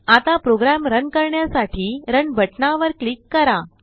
आताप्रोग्राम run करण्यासाठी run बटनावर click करा